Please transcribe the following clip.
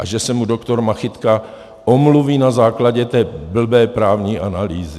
A že se mu doktor Machytka omluví na základě té blbé právní analýzy.